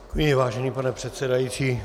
Děkuji, vážený pane předsedající.